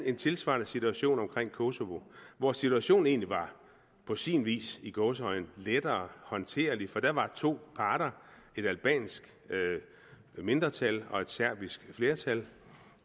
en tilsvarende situation omkring kosovo hvor situationen egentlig på sin vis var i gåseøjne lettere håndterlig for der var to parter et albansk mindretal og et serbisk flertal